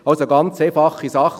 Dies wäre eine einfache Sache.